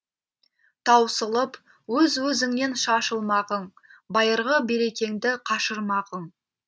таусылып өз өзіңнен шашылмағың байырғы берекеңді қашырмағың